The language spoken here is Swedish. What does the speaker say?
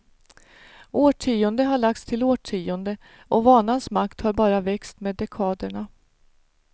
Årtionde har lagts till årtionde och vanans makt har bara växt med dekaderna.